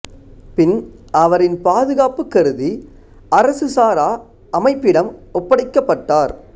பின் அவரின் பாதுகாப்பு கருதி அரசு சாரா அமைப்பிடம் ஒப்படைக்கப்பட்டார்